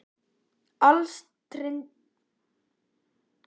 Alstirndur himinn, brimhljóð og daufur ómur frá kirkjuklukkunum í bænum.